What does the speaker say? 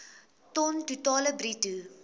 ton totaal bruto